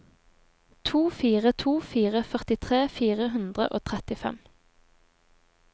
to fire to fire førtitre fire hundre og trettifem